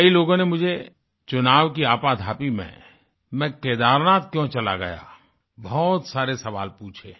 कई लोगों ने मुझे चुनाव की आपाधापी में मैं केदारनाथ क्यों चला गया बहुत सारे सवाल पूछे हैं